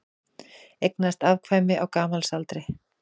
Eignaðist afkvæmi á gamalsaldri